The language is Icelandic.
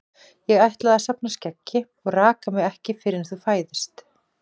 Ég ætla að safna skeggi og raka mig ekki fyrr en þú fæðist.